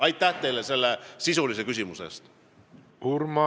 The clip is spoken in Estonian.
Aitäh teile selle sisulise küsimuse eest!